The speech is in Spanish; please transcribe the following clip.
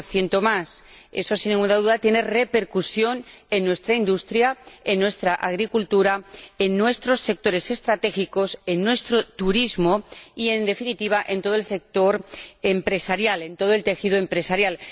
20 Esto, sin ninguna duda, tiene repercusión en nuestra industria, en nuestra agricultura, en nuestros sectores estratégicos, en nuestro turismo y, en definitiva, en todo el sector empresarial, en todo el tejido empresarial.